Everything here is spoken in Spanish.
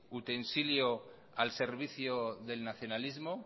utensilio al servicio del nacionalismo